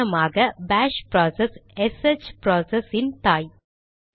உதாரணமாக bash process SH process இன் தாய்